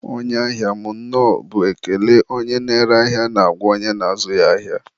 onye ahia m, nnọọ bụ ekele onye na-ere ahịa na-agwa onye na-azụ ya ahịa.